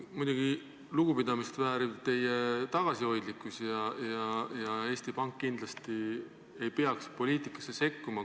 Muidugi on lugupidamist vääriv teie tagasihoidlikkus, Eesti Pank kindlasti ei peaks poliitikasse sekkuma.